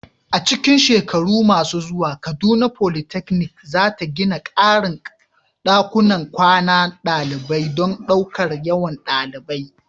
A cikin shekaru masu zuwa, Kaduna Polytechnic za ta gina ƙarin ɗakunan kwanan ɗalibai don ɗaukar yawan ɗalibai.